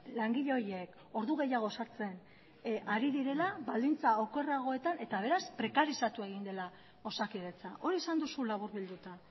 langile horiek ordu gehiago sartzen ari direla baldintza okerragoetan eta beraz prekarizatu egin dela osakidetza hori esan duzu laburbilduta